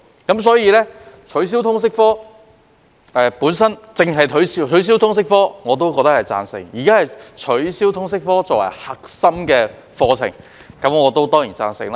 如果取消通識科，我必定贊同；對於現在只是取消通識科作為核心科目，我當然也贊成。